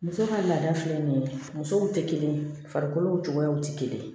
Muso ka laada filɛ nin ye musow tɛ kelen ye farikolo cogoyaw tɛ kelen ye